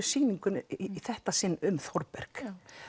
sýningunni í þetta sinn um Þórberg